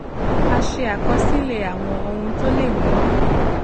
a ṣe àkọsílè àwọn ohun tó lè mú